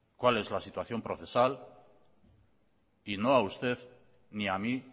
cuál es la situación procesal y no a usted ni a mí